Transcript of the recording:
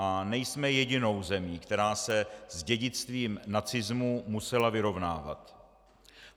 A nejsme jedinou zemí, která se s dědictvím nacismu musela vyrovnávat.